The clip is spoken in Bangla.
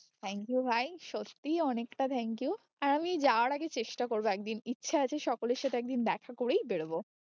thank you ভাই, সত্যি অনেকটা thank you আর আমি যাওয়ার আগে চেষ্টা করবো একদিন ইচ্ছে আছে সকলের সাথে একদিন দেখা করেই বেরোবো।